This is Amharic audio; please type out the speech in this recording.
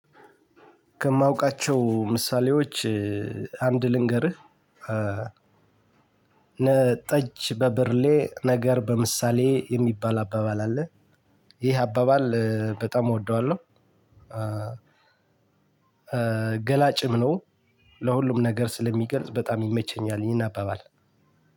ከማውቃቸው ምሳሌዎች አንድ ልንገርህ ጠጅ በብርሌ ነገር በምሳሌ የሚባል አባባል አለ። ይህ አባባል በጣም እወደዋለሁ። ገላጭም ነው ለሁሉም ነገር ስለሚገልጽ በጣም ይመቸኛል። ይህን አባባል